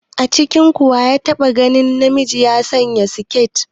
A cikinku wa ya taɓa ganin namiji ya sanya siketi?